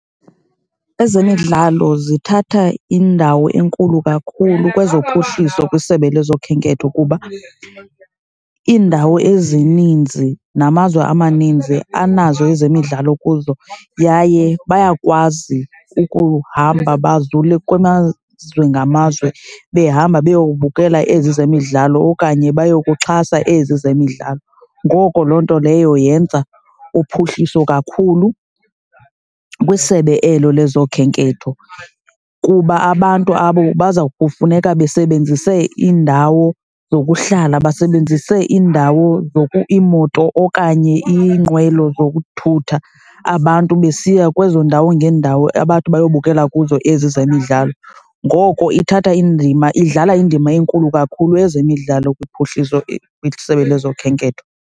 Ezemidlalo zithatha indawo enkulu kakhulu kwezo phuhliso kwisebe lezokhenketho kuba iindawo ezininzi namazwe amaninzi anazo ezemidlalo kuzo yaye bayakwazi ukuhamba bazule kumazwe ngamazwe behamba beyowubukela ezi zemidlalo okanye bayokuxhasa ezi zemidlalo. Ngoko loo nto leyo yenza uphuhliso kakhulu kwisebe elo lezokhenketho kuba abantu abo baza kufuneka besebenzise iindawo zokuhlala, basebenzise iindawo, iimoto okanye iinqwelo zokuthutha abantu besiya kwezoo ndawo ngeendawo, abathi bayobukela kuzo ezi zemidlalo. Ngoko ithatha indima, idlala indima enkulu kakhulu ezemidlalo kuphuhliso isebe lezokhenketho.